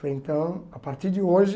Falei, então, a partir de hoje...